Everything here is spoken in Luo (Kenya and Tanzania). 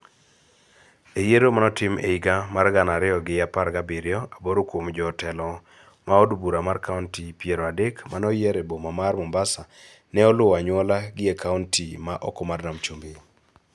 E yiero mane otim e higa mar gana ariyo gi apar gabiriyo, aboro kuom jo telo ma od bura mar kaonti piero adek mane oyier e boma mar Mombasa ne luwo anyuola gi e kaonti ma oko mar Nam Chumbi.